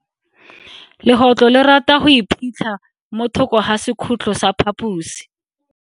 Legotlo le rata go iphitlha mo thoko ga sekhutlo sa phaposi.